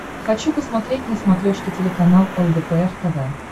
хочу посмотреть на смотрешке телеканал лдпр тв